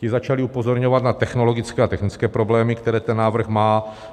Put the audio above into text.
Ti začali upozorňovat na technologické a technické problémy, které ten návrh má.